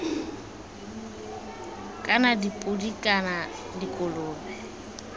kana dipodi kana iv dikolobe